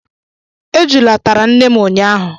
Ejula tara nne m ụnyahụ